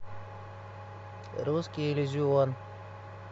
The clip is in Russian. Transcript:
русский иллюзион